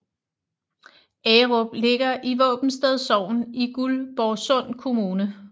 Agerup ligger i Våbensted Sogn i Guldborgsund Kommune